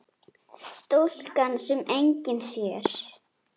Stúlkan sem enginn sér.